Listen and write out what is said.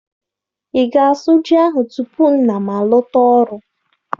Ị ga-asu ji ahụ tupu nna m alọta ọrụ?